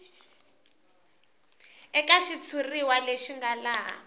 eka xitshuriwa lexi nga laha